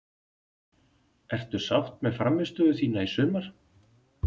Ertu sátt með frammistöðuna þína í sumar?